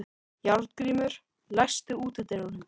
Járngrímur, læstu útidyrunum.